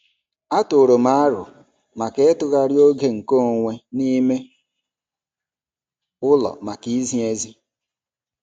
Atụụrụ m aro ịtụgharị oge nke onwe n'ime ụlọ maka izi ezi.